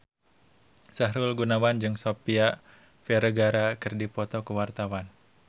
Sahrul Gunawan jeung Sofia Vergara keur dipoto ku wartawan